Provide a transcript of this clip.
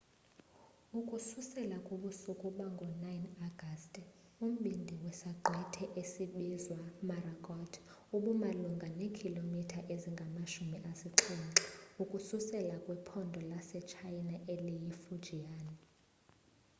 ukususela kubusuku bango-9 agasti umbindi wesaqhwithi esinbizwa morakot ubumalunga neekhilomitha ezingamashumi asixhenxe ukususela kwiphondo lasetshayina eliyifujian